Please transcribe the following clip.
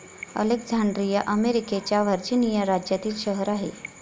Alexandria अमेरिकेच्या Virginia राज्यातील शहर आहे.